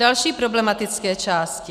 Další problematické části.